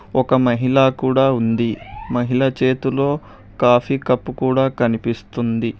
ఒక మహిళా కూడా ఉంది మహిళ చేతులో కాఫీ కప్పు కూడా కనిపిస్తుంది.